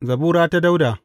Zabura ta Dawuda.